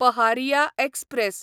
Paharia express